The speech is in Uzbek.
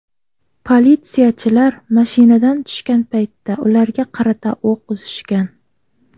Politsiyachilar mashinadan tushgan paytda ularga qarata o‘q uzishgan.